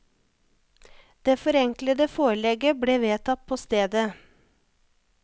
Det forenklede forelegget ble vedtatt på stedet.